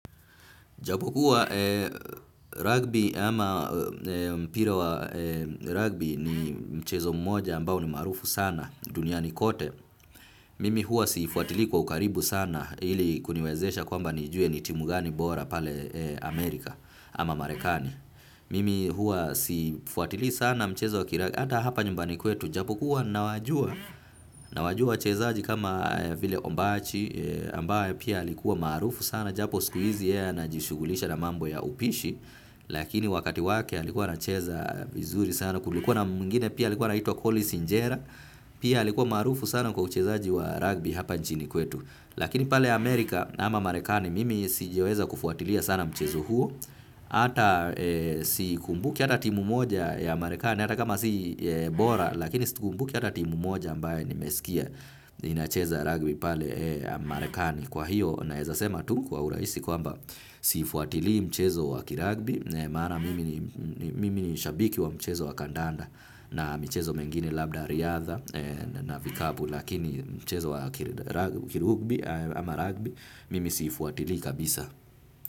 Japo kuwa rugby ama mpira wa rugby ni mchezo mmoja ambao ni maarufu sana, duniani kote. Mimi huwa siifuatili kwa ukaribu sana ili kuniwezesha kwamba nijue ni timu gani bora pale Amerika ama Marekani. Mimi huwa siifuatili sana mchezo wa kila hata hapa nyumbani kwetu. Japo kuwa nawajua, nawajua wachezaji kama vile ombachi ambao pia alikuwa marufu sana. Japo siku hizi yeye anajishughulisha na mambo ya upishi lakini wakati wake alikuwa anacheza vizuri sana kulikuwa na mwingine pia alikuwa anaituwa Collins njera pia alikuwa maarufu sana kwa uchezaaji wa rugby hapa nchini kwetu lakini pale Amerika ama marekani mimi sijaweza kufuatilia sana mchezo huo hata sikumbuki hata timu moja ya marekani hata kama si bora lakini sikumbuki hata timu moja ambaye nimesikia inacheza rugby pale marekani. Kwa hiyo naeza sema tu kwa urahisi kwamba siifuatili mchezo wakirugby maana mimi ni shabiki wa mchezo wakandanda na michezo mengine labda riadha na vikapu lakini mchezo wa kirugbi ama rugby mimi siifuatili kabisa.